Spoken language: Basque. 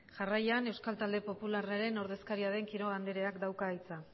jarraian euskal talde popularraren ordezkaria den quiroga andereak dauka hitza